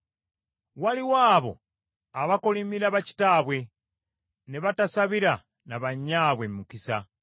Waliwo abo abakolimira bakitaabwe ne batasabira na bannyaabwe mukisa;